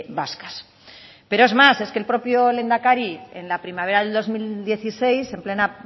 vascas pero es más es que el propio lehendakari en la primavera del dos mil dieciséis en plena